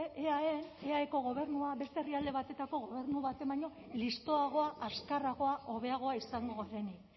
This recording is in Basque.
eaen eaeko gobernua beste herrialde batetako gobernu batek baino listoagoa azkarragoa hobeagoa izango denik